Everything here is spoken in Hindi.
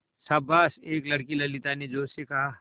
शाबाश एक लड़की ललिता ने जोश से कहा